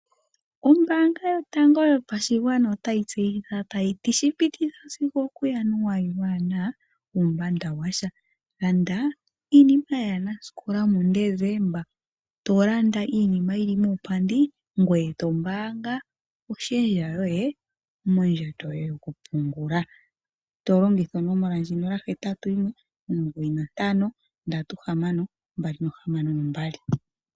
Ombaanga yotango yopashigwana otayi tseyitha tayi ti shipititha sigo okuJanuali waana uumbanda washa, landa iinima yaanasikola muDesemba. To landa iinima yili muupandi, ngoye to mbaanga oshendja yoye mondjato yoye yoku pungula, to longitha onomola ndjino 0819536262.